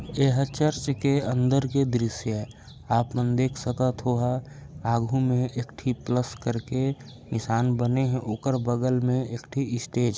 एहर चर्च के अंदर के दृश्य ये आपमन देख सकत होहा आघू म एक ठी प्लस करके निशान बने हए ओकर बगल मे एक ठी स्टेज --